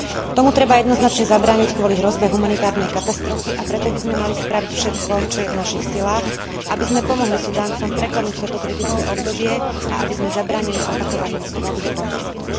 Tomu treba jednoznačne zabrániť kvôli hrozbe humanitárnej katastrofy, a preto by sme mali spraviť všetko, čo je v našich silách, aby sme pomohli Sudáncom preklenúť toto kritické obdobie a aby sme zabránili opakovaniu krvavých konfliktov.